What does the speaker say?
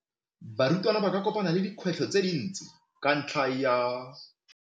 Barutwana ba kopane le dikgwetlho tse dintsi ka ntlha ya.